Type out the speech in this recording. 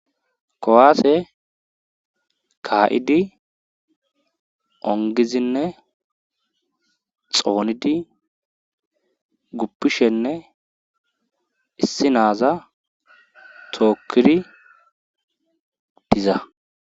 kowaase kaa7idi ongizinne xoonidi guppishenne issi naaza tookkiri diza